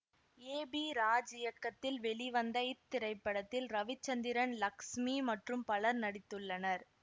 ஏ P Raj இயக்கத்தில் வெளிவந்த இத்திரைப்படத்தில் ரவிச்சந்திரன் லக்ஸ்மி மற்றும் பலரும் நடித்துள்ளனர்